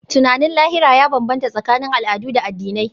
Tunanin lahira ya bambanta tsakanin al'adu da addinai.